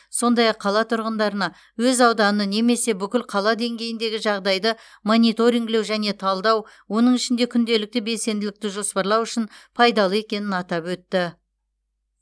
сондай ақ қала тұрғындарына өз ауданы немесе бүкіл қала деңгейіндегі жағдайды мониторингілеу және талдау оның ішінде күнделікті белсенділікті жоспарлау үшін пайдалы екенін атап өтті